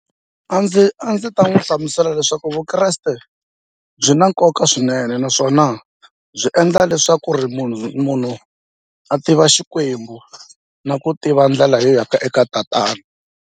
A ndzi a ndzi ta n'wi hlamusela leswaku vukreste byi na nkoka swinene naswona byi endla leswaku ri munhu munhu a tiva Xikwembu na ku tiva ndlela yo ya ka eka tatana.